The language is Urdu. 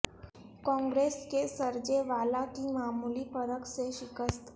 کانگریس کے سرجے والا کی معمولی فرق سے شکست